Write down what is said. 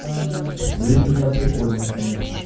лить у меня прикольная конечно